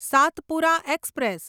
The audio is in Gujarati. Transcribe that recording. સાતપુરા એક્સપ્રેસ